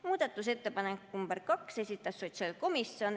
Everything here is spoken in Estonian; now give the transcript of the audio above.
Muudatusettepaneku nr 2 esitas sotsiaalkomisjon.